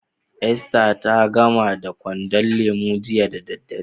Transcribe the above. Esther ta gamar da kwandon lemu jiya da dare.